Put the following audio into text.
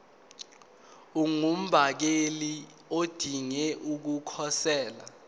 ungumbaleki odinge ukukhosela